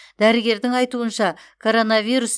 дәрігердің айтуынша коронавирус